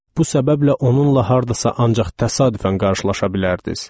Bu səbəblə onunla hardasa ancaq təsadüfən qarşılaşa bilərdiniz.